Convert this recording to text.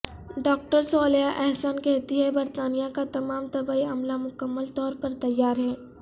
doctor Saliha Ahsan کہتی ہیں برطانیہ کا تمام طبی عملہ مکمل طور پر تیار ہے